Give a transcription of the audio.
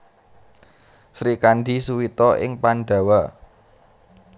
Srikandhi Suwita ing Pandhawa